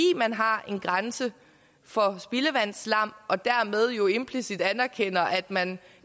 man har en grænse for spildevandsslam og dermed jo implicit anerkender at man